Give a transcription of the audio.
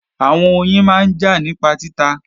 Àwọn oyin máa ń jà nípa títa